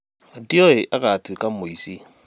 Ndioĩ agatuĩka mũici